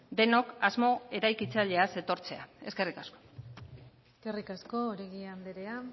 denok asmo eraikitzaileaz etortzea eskerrik asko eskerrik asko oregi andrea